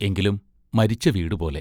എങ്കിലും മരിച്ച വീടു പോലെ....